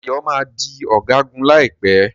Dayo má dì Ọ̀gágun láìpé.